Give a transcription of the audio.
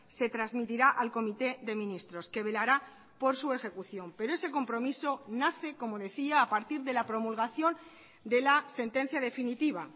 se transmitirá al comité de ministros que velará por su ejecución pero ese compromiso nace como decía a partir de la promulgación de la sentencia definitiva